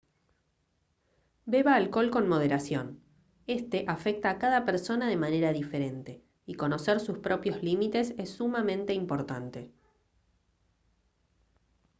beba alcohol con moderación este afecta a cada persona de manera diferente y conocer sus propios límites es sumamente importante